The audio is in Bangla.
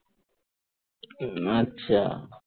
উম আচ্ছা